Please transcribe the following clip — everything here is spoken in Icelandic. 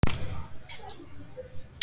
Satt að segja.